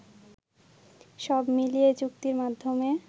সব মিলিয়ে এ চুক্তির মধ্যমে